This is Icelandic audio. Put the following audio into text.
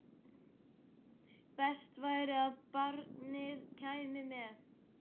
Best væri að barnið kæmi með.